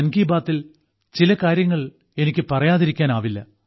മൻ കി ബാത്തിൽ ചില കാര്യങ്ങൾ എനിക്ക് പറയാതിരിക്കാൻ ആവില്ല